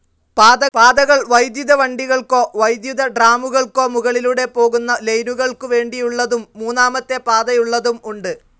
പാതകൾ വൈദ്യുത വണ്ടികൾക്കോ വൈദ്യുതട്രാമുകൾക്കോ മുകളിലൂടെ പൊകുന്ന ലൈനുകൾക്കു വേണ്ടിയുള്ളതും മൂന്നാമത്തെ പാതയുള്ളതും ഉണ്ട്.